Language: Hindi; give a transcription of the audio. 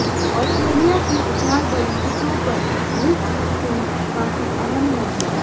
आस्ट्रेलिया की उछाल भरी पिचों पर रिस्ट स्पिन काफी अहम होगी